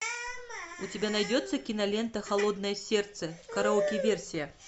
у тебя найдется кинолента холодное сердце караоке версия